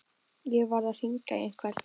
Ég varð að hringja í einhvern.